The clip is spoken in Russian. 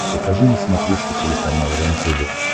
покажи на смотрешке телеканал рентв